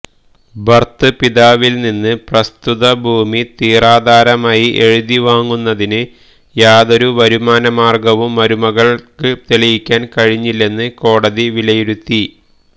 ഭർതൃപിതാവിൽനിന്ന് പ്രസ്തുത ഭൂമി തീറാധാരമായി എഴുതിവാങ്ങുന്നതിന് യാതൊരു വരുമാനമാർഗവും മരുമകൾക്ക് തെളിയിക്കാൻ കഴിഞ്ഞില്ലെന്ന് കോടതി വിലയിരുത്തി